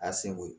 A seko ye